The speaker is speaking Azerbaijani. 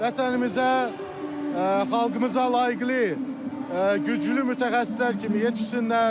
Vətənimizə, xalqımıza layiqly, güclü mütəxəssislər kimi yetişsinlər!